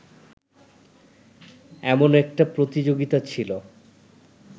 এমন একটা প্রতিযোগিতা ছিল